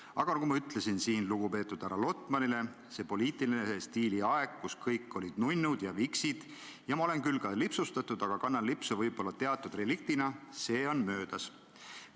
Aga nagu ma ütlesin lugupeetud härra Lotmanile, selle poliitilise stiili aeg, kus kõik olid nunnud ja viksid – ma olen küll ka lipsustatud, aga kannan lipsu võib-olla teatud reliktina –, on möödas.